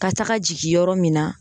Ka taga jigin yɔrɔ min na